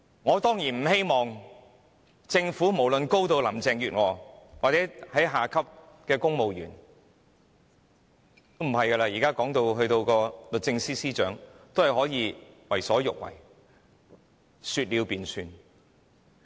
我當然不希望政府內上至林鄭月娥下至低層的公務員......現在連律政司司長也可以為所欲為，說了便算。